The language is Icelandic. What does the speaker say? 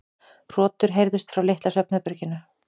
Hrotur heyrðust frá litla svefnherberginu.